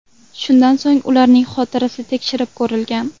Shundan so‘ng ularning xotirasi tekshirib ko‘rilgan.